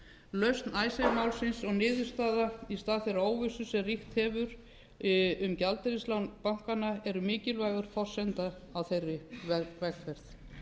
lausn icesave málsins og niðurstaða í stað þeirrar óvissu sem ríkt hefur um gjaldeyrislán bankanna eru mikilvæg forsenda á þeirri vegferð